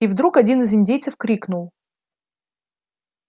и вдруг один из индейцев крикнул